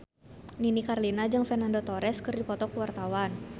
Nini Carlina jeung Fernando Torres keur dipoto ku wartawan